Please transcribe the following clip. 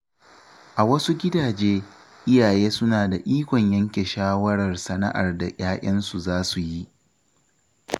A wasu gidaje, iyaye suna da ikon yanke shawarar sana’ar da ‘ya‘yansu za su yi.